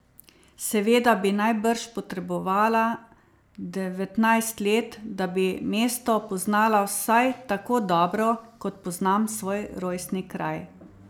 Seveda bi najbrž potrebovala devetnajst let, da bi mesto poznala vsaj tako dobro, kot poznam svoj rojstni kraj.